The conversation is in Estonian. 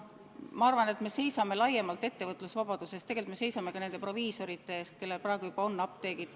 Ma arvan, et me seisame laiemalt ettevõtlusvabaduse eest, aga tegelikult me seisame ka nende proviisorite eest, kellel praegu juba on apteegid.